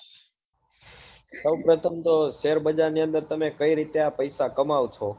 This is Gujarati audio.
સહેબ પ્રથમ તો share બજાર ની અંદર તમે કઈ રીતે આ પૈસા કમાઓ છો